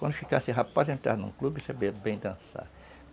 Quando ficasse rapaz, entrava em um clube bem dançar.